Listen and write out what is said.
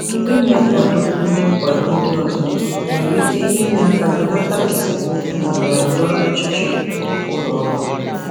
Ịnye nkwado ndị nkwado ndị ọzọ nwere ike inye aka belata esemokwu na ndọrọ ndọrọ ọchịchị ụlọ ọrụ.